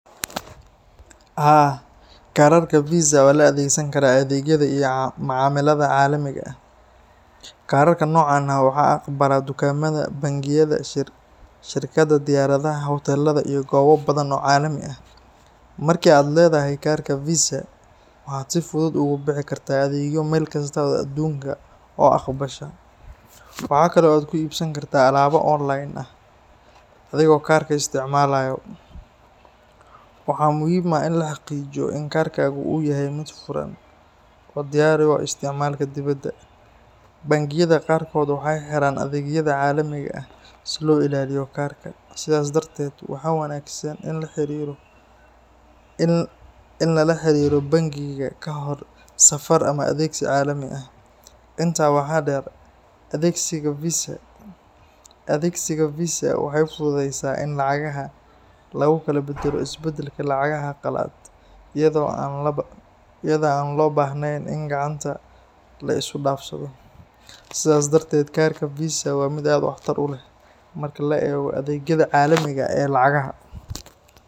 Haa, kaararka Visa waa la adeegsan karaa adeegyada iyo macaamilada caalamiga ah. Kaararka noocan ah waxaa aqbala dukaamada, bangiyada, shirkadaha diyaaradaha, hoteelada iyo goobo badan oo caalami ah. Marka aad leedahay kaarka Visa, waxaad si fudud ugu bixi kartaa adeegyo meel kasta oo aduunka ah oo aqbasha. Waxa kale oo aad ku iibsan kartaa alaabo online ah adigoo kaarka isticmaalaya. Waxaa muhiim ah in la xaqiijiyo in kaarkaagu uu yahay mid furan oo u diyaar ah isticmaalka dibadda. Bangiyada qaarkood waxay xiraan adeegyada caalamiga ah si loo ilaaliyo kaarka, sidaas darteed waxaa wanaagsan in la la xiriiro bangiga ka hor safar ama adeegsi caalami ah. Intaa waxaa dheer, adeegsiga Visa waxay fududeysaa in lacagaha lagu kala beddelo isbedelka lacagaha qalaad, iyadoo aan la baahnayn in gacanta lacag la isu dhaafsado. Sidaas darteed, kaarka Visa waa mid aad waxtar u leh marka la eego adeegyada caalamiga ah ee lacagaha.